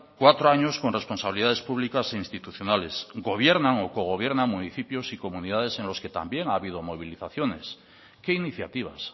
cuatro años con responsabilidades públicas e institucionales gobierna o cogobiernan municipios y comunidades en los que también ha habido movilizaciones qué iniciativas